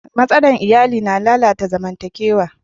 Matsalar iya na lalata zamantakewa.